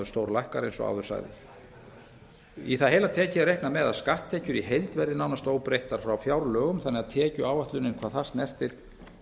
á móti eins og áður sagði í það heila tekið er reiknað með að skatttekjur í heild verði nánast óbreyttar frá fjárlögum þannig að tekjuáætlunin hvað það snertir